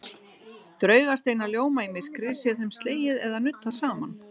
Draugasteinar ljóma í myrkri sé þeim slegið eða nuddað saman.